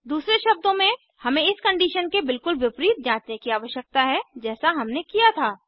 दूसरे शब्दों में हमें इस कंडीशन के बिल्कुल विपरीत जाँचने की आवश्यकता है जैसा हमने किया था